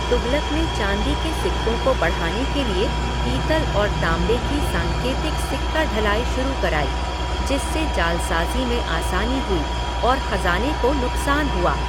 तुगलक ने चाँदी के सिक्कों को बढ़ाने के लिए पीतल और ताँबे की सांकेतिक सिक्का ढलाई शुरू कराई, जिससे जालसाजी में आसानी हुई और खज़ाने को नुकसान हुआ।